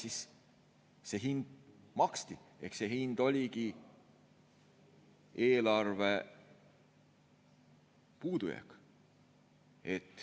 Siis see hind maksti, see hind oligi eelarvepuudujääk.